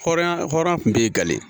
Hɔrɔnya hɔrɔn kun b'i gale